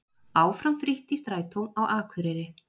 Áfram frítt í strætó á Akureyri